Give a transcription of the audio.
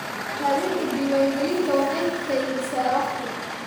Raadinta diiwaangelinta waxay keydisaa waqti.